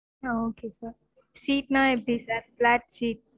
ஆஹ் okay sir seat நா எப்டி sir black seat